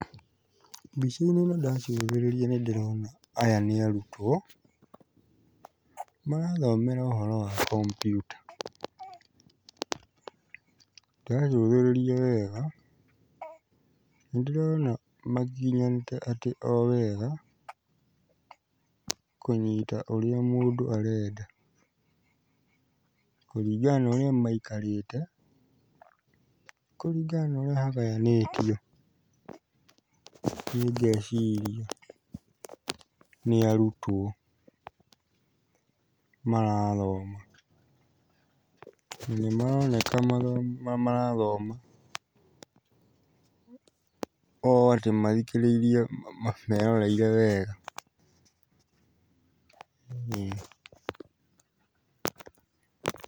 Mbica-inĩ ĩno ndacũthĩrĩria nĩ ndĩrona aya nĩ arutwo, marathomera ũhoro wa kompiuta. Ndacũthĩrĩria wega, nĩ ndĩrona magiginyanĩte atĩ o wega, kũnyita ũrĩa mũndũ arenda, kũringana na ũrĩa maikarĩte, kũringana na ũrĩa hagayanĩtio, niĩ ngeciria nĩ arutwo marathoma. Na nĩ maroneka marathoma o atĩ mathikĩririe meroreire wega.